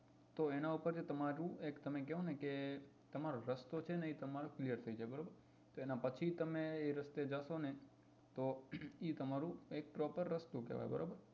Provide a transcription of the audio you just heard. તો એના પર થી એક તમે કો ને તમારો રસ્તો છે ને એ તમારો clear થઇ જાય બરાબર તો એના પછી તમે એ રસ્તે જશો ને તો એ તમારું એક propper રસ્તો કેવાય બરાબર